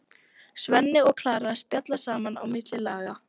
Svenni og Klara spjalla saman á milli laga.